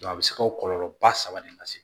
a bɛ se ka kɔlɔlɔ ba saba de lase